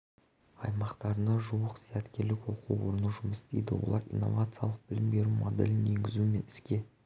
аймақтарында жуық зияткерлік оқу орны жұмыс істейді олар инновациялық білім беру моделін енгізу мен іске